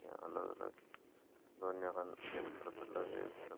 अलग अलग दोनो कानी एक तरफ अलग है एक तरफ --